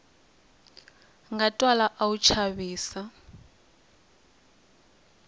nga twala a wu chavisa